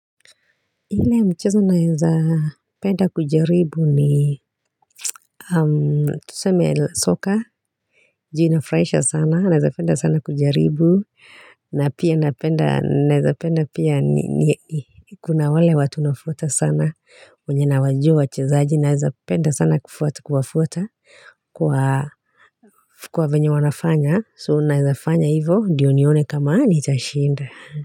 Ile mchezo naezapenda kujaribu ni tuseme soka, juu inafurahisha sana, naeza penda sana kujaribu, na pia napenda naeza penda pia ni kuna wale watu nafuata sana, wenye nawajua wachezaji naeza penda sana kufuata kuwafuata kwa venye wanafanya, so naeza fanya hivo, ndiyo nione kama nitashinda.